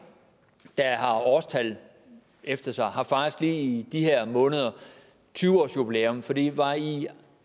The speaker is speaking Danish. der har årstal efter sig har faktisk lige i de her måneder tyve årsjubilæum for det var i